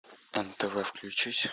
нтв включить